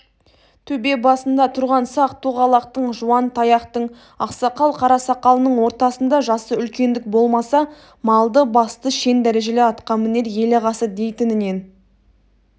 төбе басында тұрған сақ-тоғалақтың жуантаяқтың ақсақал қарасақалының ортасында жасы үлкендік болмаса малды-басты шен-дәрежелі атқамінер ел ағасы дейтіннен